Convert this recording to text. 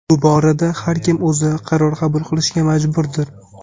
Bu borada har kim o‘zi qaror qabul qilishga majburdir.